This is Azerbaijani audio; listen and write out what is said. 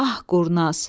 Ah, qurnaz.